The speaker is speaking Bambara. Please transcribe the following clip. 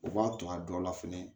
U b'a to a dɔ la fɛnɛ